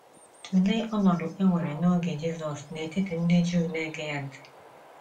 Tụlee ọnọdụ e nwere n’oge Jisọs n’etiti ndị Juu na - ege ya ntị.